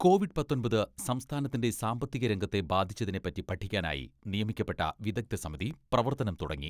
Covid പത്തൊമ്പത് സംസ്ഥാനത്തിന്റെ സാമ്പത്തിക രംഗത്തെ ബാധിച്ചതിനെപ്പറ്റി പഠിക്കാനായി നിയമിക്കപ്പെട്ട വിദഗ്ദ്ധ സമിതി പ്രവർത്തനം തുടങ്ങി.